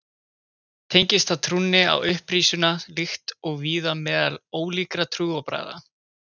Tengist það trúnni á upprisuna líkt og víða meðal ólíkra trúarbragða.